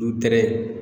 Du tɛgɛ